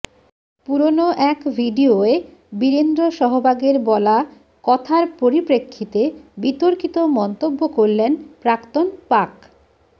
পুরনো এক ভিডিয়োয় বীরেন্দ্র সহবাগের বলা কথার পরিপ্রেক্ষিতে বিতর্কিত মন্তব্য করলেন প্রাক্তন পাক